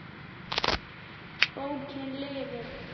Bókin lifir.